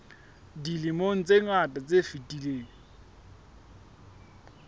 dilemong tse ngata tse fetileng